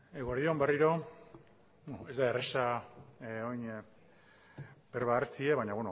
eguerdi on berriro ez da erreza orain berba hartzea baina